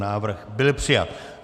Návrh byl přijat.